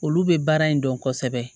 Olu bɛ baara in dɔn kosɛbɛ